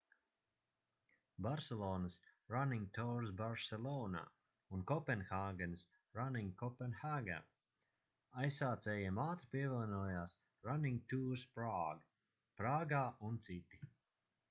barselonas running tours barcelona un kopenhāgenas running copenhagen aizsācējiem ātri pievienojās running tours prague prāgā un citi